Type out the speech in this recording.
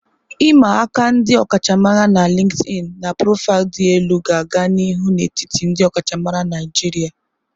I'ma aka ndi okachamara na LinkedIn na profaịlụ dị elu ga-aga n'ihu n'etiti ndị ọkachamara Naijiria.